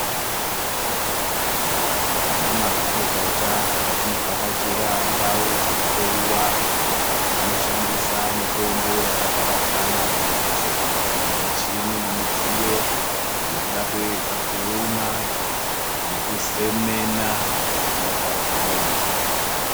Vana mazvikokota patinovhakachira ndao dzekuhloyiwa vanoshandisa mitombo yakaparadzana mumbatso idzi nemichini nemidziyo yekuda kuedza kuona nekuzemena zvinorwadza muntu .